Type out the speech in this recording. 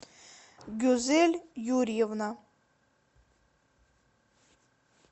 гюзель юрьевна